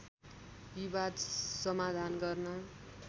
विवाद समाधान गर्न